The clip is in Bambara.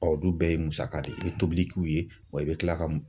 Ɔ o dun bɛɛ ye musaka de ye, i bɛ tobili k'u ye, wa i bɛ tila ka